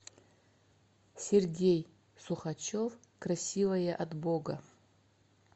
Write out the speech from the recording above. сергей сухачев красивая от бога